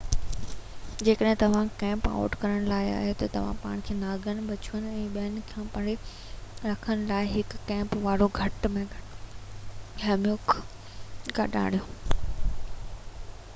جيڪڏهن توهان camp out ڪرڻ وارا آهيو ته پنهنجو پاڻ کي نانگن بڇوئن ۽ ٻين کان پري رکڻ لاءِ هڪ ڪيمپ واري کٽ يا هيموڪ گڏ آڻيو